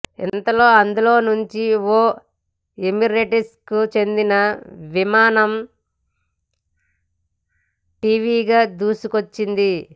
ఇంతలో అందులో నుంచి ఓ ఎమిరేట్స్కు చెందిన విమానం ఠీవీగా దూసుకొచ్చింది